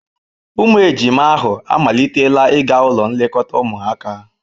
Ụmụ ejima ahụ amalitela ịga ụlọ nlekọta ụmụaka.